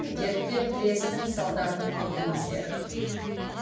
дертпен тірестің салдарын көрдіңіздер